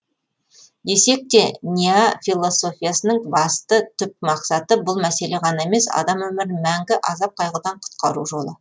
десекте ньяя философиясының басты түп мақсаты бұл мәселе ғана емес адам өмірін мәңгі азап қайғыдан құтқару жолы